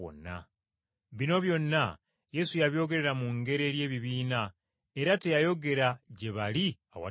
Bino byonna Yesu yabyogerera mu ngero eri ebibiina era teyayogera gye bali awatali ngero.